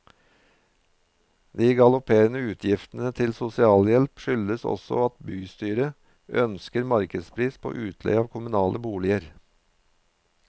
De galopperende utgiftene til sosialhjelp skyldes også at bystyret ønsker markedspris på utleie av kommunale boliger.